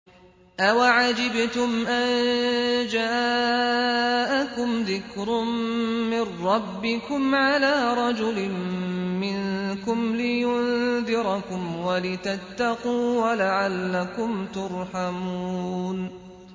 أَوَعَجِبْتُمْ أَن جَاءَكُمْ ذِكْرٌ مِّن رَّبِّكُمْ عَلَىٰ رَجُلٍ مِّنكُمْ لِيُنذِرَكُمْ وَلِتَتَّقُوا وَلَعَلَّكُمْ تُرْحَمُونَ